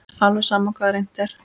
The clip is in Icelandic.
Alveg sama hvað reynt er.